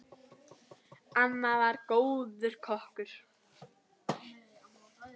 Amma var góður kokkur.